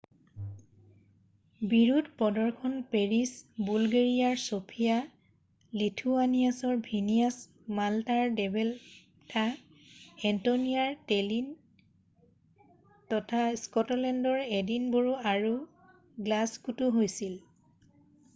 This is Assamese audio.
বিৰোধ প্ৰদৰ্শন পেৰিছ বুলগেৰীয়াৰ চফীয়া লিথুৱানীয়াৰ ভিনীয়াছ মালটাৰ ভেলেটা এষ্টনীয়াৰ টেলিন তথা স্কটলেণ্ডৰ এডিনবোৰো আৰু গ্লাছগোতও হৈছিল